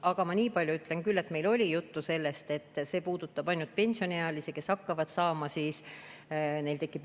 Aga ma niipalju ütlen küll, et meil oli juttu sellest, et see puudutab ainult pensioniealisi, kellel tekib õigus pensioni saada.